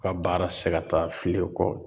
U ka baara te se ka taa filen kɔ.